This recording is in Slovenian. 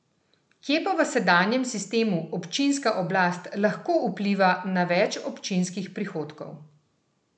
Kje pa v sedanjem sistemu občinska oblast lahko vpliva na več občinskih prihodkov?